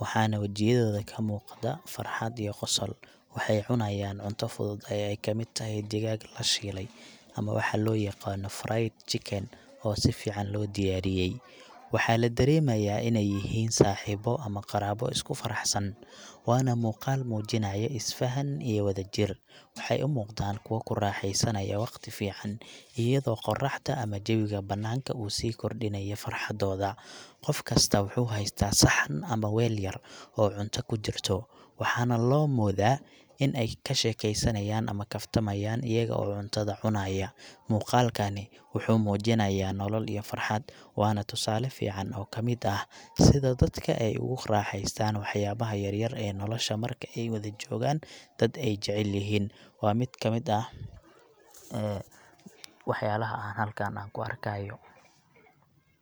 wana wajiyadoda kamugataa farxad iyo gosol, waxay cunayan cunta fuduud ay kamid taxay digag lashile, ama waxa loyagano fry chicken, oo sifican lodiyariyey, waxa ladaremaya inay yixiin saxibo ama qarabo iskufaraxsan, wana muqal mujinayo isfahaan iyo wadajiir, waxay umuqdan kuwa kuraxeysanayo wagti fican, iyado qoraxda ama jawiga bananka usikordinayo frxadoda, gofkasta wuxu xaysta saxan ama weel yar o cunta kujirto, waxana lomoda in ay kashekeysanay ama kaftamayan ayago cuntada cunayaa, muugalkani wuxu mujinaya nolol iyo farxad, wana tusaale fican oo kamid ah, sidaa dadka ey oguraheystan waxyabaxa yaryar ee nolosha marka ay wadaa jogaan dad ay jecelyixii , wa mid kamid ah, ee waxyalaxa an halkaan kuarkayo.